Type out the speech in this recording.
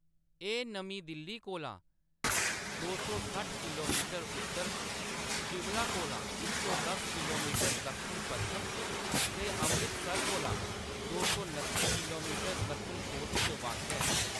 एह्‌‌ नमीं दिल्ली कोला दो सौ सट्ठ किलोमीटर उत्तर च, शिमला कोला इक सौ दस किलोमीटर दक्खन-पच्छम च ते अमृतसर कोला दो सौ नत्ती किलोमीदर दक्खन-पूर्व च वाक्या ऐ।